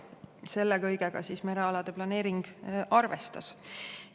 Selle kõigega merealade planeering arvestas.